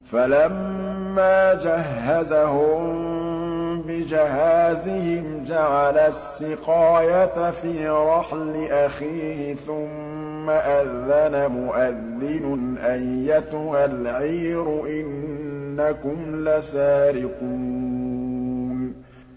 فَلَمَّا جَهَّزَهُم بِجَهَازِهِمْ جَعَلَ السِّقَايَةَ فِي رَحْلِ أَخِيهِ ثُمَّ أَذَّنَ مُؤَذِّنٌ أَيَّتُهَا الْعِيرُ إِنَّكُمْ لَسَارِقُونَ